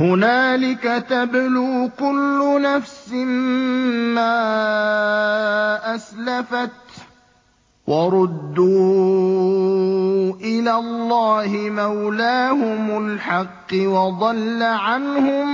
هُنَالِكَ تَبْلُو كُلُّ نَفْسٍ مَّا أَسْلَفَتْ ۚ وَرُدُّوا إِلَى اللَّهِ مَوْلَاهُمُ الْحَقِّ ۖ وَضَلَّ عَنْهُم